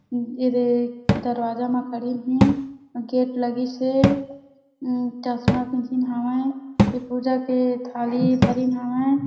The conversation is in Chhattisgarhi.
ए रे दरवाजा म खड़ीन हे गेट लगीस हे अम्म चश्मा पिंधिस हावय आऊ पूजा के थाली धरिन हावय--